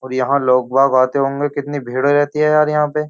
और यहाँ लोग बाग आते होंगे कितनी भीड़ रहती है यार यहाँ पे।